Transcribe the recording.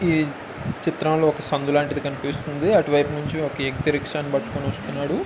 ఈ చిత్రం లో ఒక సందు లాంటిది కనిపిస్తుంది అటు వైపు నుంచి ఒక వ్యక్తి రిక్షా ని పట్టుకుని వస్తున్నాడు.